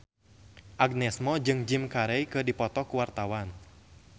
Agnes Mo jeung Jim Carey keur dipoto ku wartawan